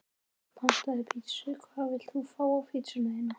Pantaði pizzu Hvað vilt þú fá á pizzuna þína?